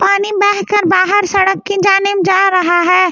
पानी बेह कर बाहर सड़क के जाने मे जा रहा है बाहर--